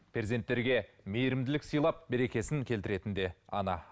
перзенттерге мейірімділік сыйлап берекесін келтіретін де ана